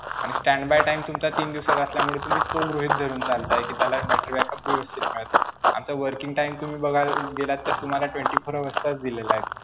आणि stand by time तुमचा तीन दिवसाचा असल्यामुळे तुम्ही तो गृहीत धरून चालताय कि त्याला battery backup व्यवस्थित मिळेल. आता working time तुम्ही बघायला गेलात तर तुम्हाला twenty-four hours चाच दिलेला आहे.